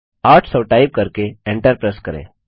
800 type करके enter press करें